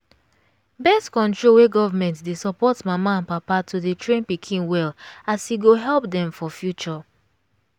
birth control wey government dey suport mama and papa to dey train pikin well as e go help dem for future